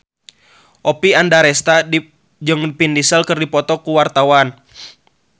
Oppie Andaresta jeung Vin Diesel keur dipoto ku wartawan